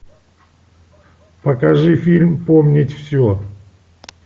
покажи фильм помнить все